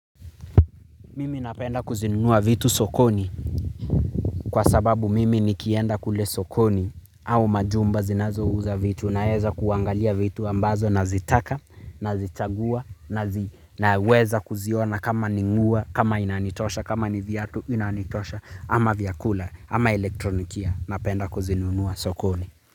Mimi napenda kuzinunua vitu sokoni kwa sababu mimi nikienda kule sokoni au majumba zinazouza vitu naeza kuangalia vitu ambazo nazitaka nazichagua na weza kuziona kama ni nguwa kama inanitosha kama ni viatu inanitosha ama vyakula ama elektronikia napenda kuzinunua sokoni.